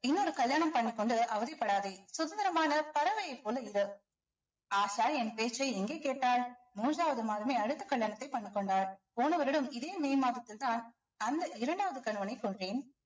இன்னொரு கல்யாணம் பண்ணிக் கொண்டு அவதிப்படாதே சுதந்திரமான பறவைய போல இரு ஆஷா என் பேச்சை எங்க கேட்டாள் மூன்றாவது மாதமே அடுத்த கல்யாணத்தை பண்ணிக் கொண்டாள் போன வருடம் இதே மே மாதத்தில்தான் அந்த இரண்டாவது கணவனை கொன்றேன்